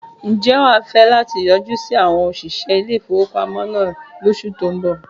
Ǹjẹ́ wà á fẹ́ láti yọjú sí àwon òsìṣẹ́ ilé ìfowópamọ́ náà lóṣù tó ń bọ̀